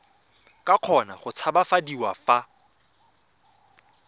ka kgona go tshabafadiwa fa